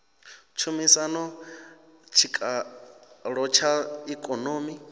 tshumisano na tshikalo tsha ikonomi